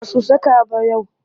Ba su saka ba sai yau